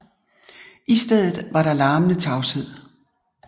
I stedet var der larmende tavshed